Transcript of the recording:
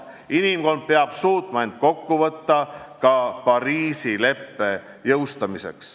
Inimkond peab suutma end kokku võtta ka Pariisi leppe jõustamiseks.